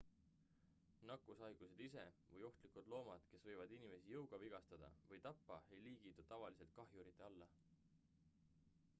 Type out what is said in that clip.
nakkushaigused ise või ohtlikud loomad kes võivad inimesi jõuga vigastada või tappa ei liigitu tavaliselt kahjurite alla